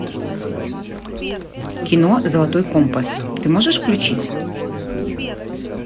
кино золотой компас ты можешь включить